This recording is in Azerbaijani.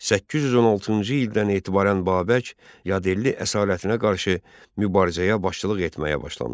816-cı ildən etibarən Babək yadel əsarətinə qarşı mübarizəyə başçılıq etməyə başlamışdı.